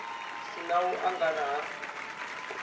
si na u angana ha